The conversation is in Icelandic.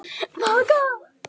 Hann er samtals á pari.